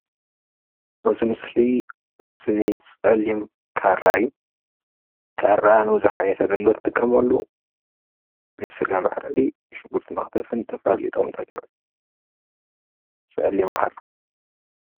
እዚ ምስሊ ምስሊ ፀሊም ካራ እዩ፣ ካራ ንብዙሕ ዓይነት ግልጋሎት እንጥቀመሉ ንስጋ መሕረድን ሽጉርቲ መክተፍን ዝተፈላለዩ ጥቅምታት ይውዕል ፀሊም ካራ